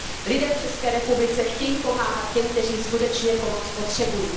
Lidé v České republice chtějí pomáhat těm, kteří skutečně pomoc potřebují.